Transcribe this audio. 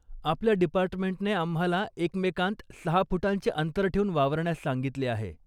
आपल्या डिपार्टमेंटने आम्हाला एकमेकांत सहा फुटांचे अंतर ठेवून वावरण्यास सांगितले आहे.